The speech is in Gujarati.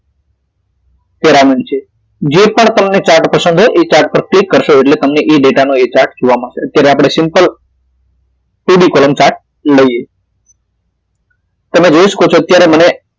Paramid છે જે પણ તમને chart પસંદ હોય તે chart પર click કરશો એટલે તમને ઇ ડેટા નો એ chart જોવા મળશે અત્યારે આપડે simple Three D column chart લઈએ તમે જોઈ શકો છો અત્યારે મને